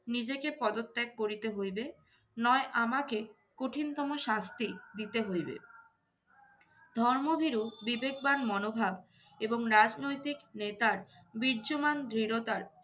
নিজেকে পদত্যাগ করিতে হইবে নয় আমাকে কঠিনতম শাস্তি দিতে হইবে। ধর্মভীরু বিবেকবান মনোভাব এবং রাজনৈতিক নেতার বীর্যমান দৃঢ়তার